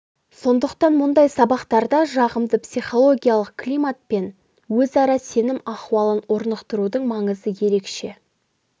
сондықтан мұндай сабақтарда жағымды психологиялық климат пен өзара сенім ахуалын орнықтырудың маңызы ерекше